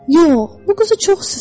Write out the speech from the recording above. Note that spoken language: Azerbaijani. Yox, bu quzu çox sıskaıdır.